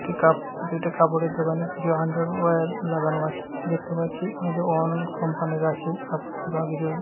এটি কাপ এটি একটি কাপড়ের দোকান এখানে কিছু আন্ডারওয়ার্ লাগানো আছে দেখতে পাচ্ছি আমাদের অন কোম্পানি এর আছে কাপড়ের দোকান কিছু--